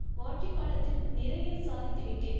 ஆட்சி காலத்தில் நிறைய சாதித்துவிட்டேன்